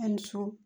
A ni su